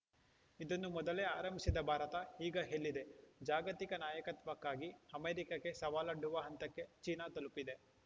ಇದನ್ನು ಮೊದಲೇ ಆರಂಭಿಸಿದ ಭಾರತ ಈಗ ಎಲ್ಲಿದೆ ಜಾಗತಿಕ ನಾಯಕತ್ವಕ್ಕಾಗಿ ಅಮೆರಿಕಕ್ಕೇ ಸವಾಲೊಡ್ಡುವ ಹಂತಕ್ಕೆ ಚೀನಾ ತಲುಪಿದೆ